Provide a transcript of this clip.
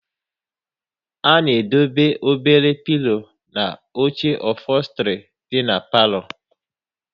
A na edobe obere pilo na oche ofostri dị n'palo